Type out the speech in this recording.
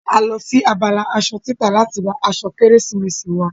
A lọ sí abala asọ títà láti ra asọ kérésìmesì wa